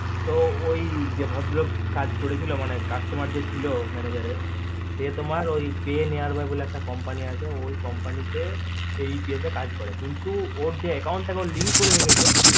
তো ওই ভদ্র লোক কাজ তা করেছিল মানে ওই customer যে ছিল manager এর সে তোমার ওই pnara বলে একটা company আছে ওই company তে apa তে কাজ করে ছিল কিন্তু ও যে ওর account টা link করে রেখেছে